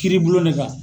Kiiri bulon ne kan